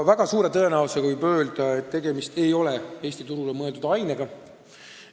Väga suure tõenäosusega võib öelda, et tegemist ei ole Eesti turule mõeldud ainega.